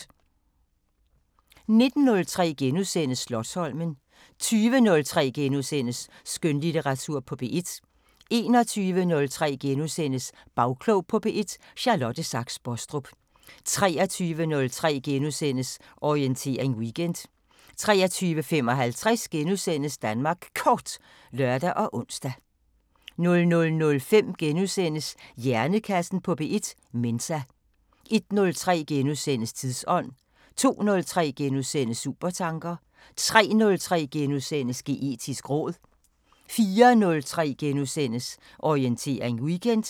19:03: Slotsholmen * 20:03: Skønlitteratur på P1 * 21:03: Bagklog på P1: Charlotte Sachs Bostrup * 23:03: Orientering Weekend * 23:55: Danmark Kort *(lør og ons) 00:05: Hjernekassen på P1: Mensa * 01:03: Tidsånd * 02:03: Supertanker * 03:03: Geetisk råd * 04:03: Orientering Weekend *